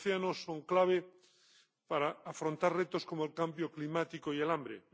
Los océanos son clave para afrontar retos como el cambio climático y el hambre.